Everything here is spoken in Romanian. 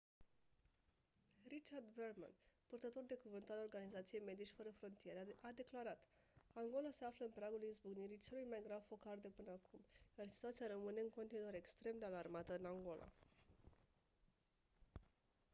richard veerman purtător de cuvânt al organizației medici fără frontiere a declarat: «angola se află în pragul izbucnirii celui mai grav focar de până acum iar situația rămâne în continuare extrem de alarmantă în angola».